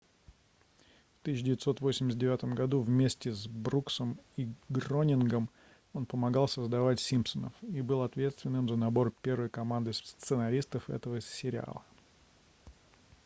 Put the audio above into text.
в 1989 году вместе с бруксом и гронингом он помогал создать симпсонов и был ответственным за набор первой команды сценаристов этого сериала